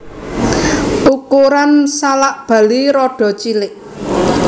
Ukuran salak Bali rada cilik